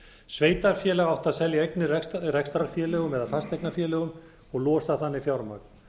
sveitarfélag átti að telja eignir í rekstrarfélögum eða fasteignafélögum og losa þannig fjármagn